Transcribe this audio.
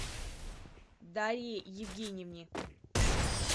дарье евгеньевне